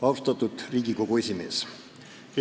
Austatud Riigikogu esimees!